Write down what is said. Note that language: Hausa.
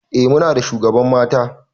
Eh Muna da shugaban mata.